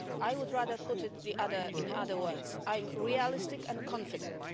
I would rather put it in other words Iʼm realistic and confident.